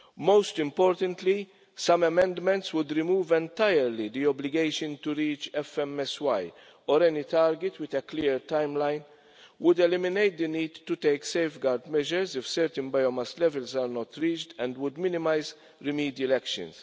Most importantly, some amendments would remove entirely the obligation to reach FMSY or any target with a clear timeline, would eliminate the need to take safeguard measures if certain biomass levels are not reached, and would minimise remedial actions.